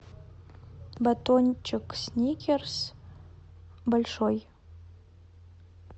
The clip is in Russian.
батончик сникерс большой